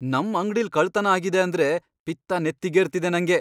ನಮ್ ಅಂಗ್ಡಿಲ್ ಕಳ್ತನ ಆಗಿದೆ ಅಂದ್ರೆ ಪಿತ್ತ ನೆತ್ತಿಗೇರ್ತಿದೆ ನಂಗೆ.